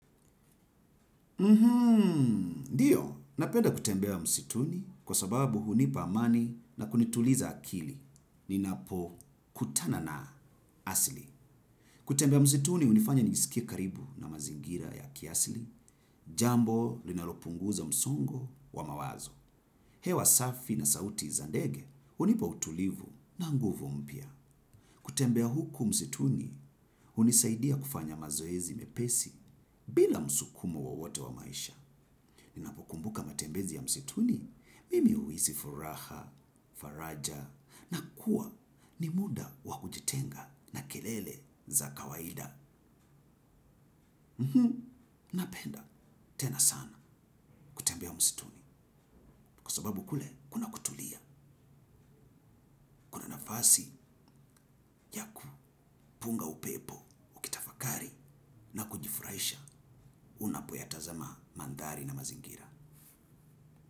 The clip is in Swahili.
Mhmmm, ndiyo, napenda kutembea msituni kwa sababu hunipa amani na kunituliza akili, ninapo kutana na asli. Kutembea msituni, unifanya njisikie karibu na mazingira ya kiasli, jambo linalopunguza msongo wa mawazo. Hewa safi na sauti za ndege, unipa utulivu na nguvu mpya. Kutembea huku msituni, unisaidia kufanya mazoezi mepesi bila msukumo wowote wa maisha. Ninapokumbuka mtembezi ya msituni, mimi uhisi furaha, faraja, na kuwa ni muda wakujitenga na kelele za kawaida. Napenda, tena sana, kutembea msituni, kwa sababu kule kuna nafasi ya kupunga upepo ukitafakari na kujifuraisha unapoyatazamaa maandhari na mazingira.